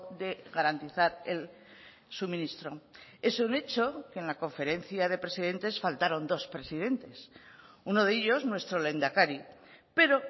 de garantizar el suministro es un hecho que en la conferencia de presidentes faltaron dos presidentes uno de ellos nuestro lehendakari pero